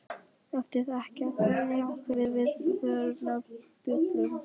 Átti það ekki að kveikja á einhverjum viðvörunarbjöllum?